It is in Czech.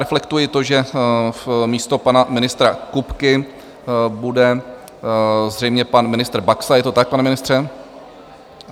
Reflektuji to, že místo pana ministra Kupky bude zřejmě pan ministr Baxa, je to tak, pane ministře?